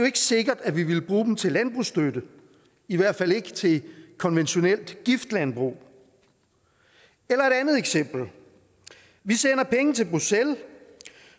ikke sikkert at vi ville bruge dem til landbrugsstøtte i hvert fald ikke til konventionelt giftlandbrug eller et andet eksempel vi sender penge til bruxelles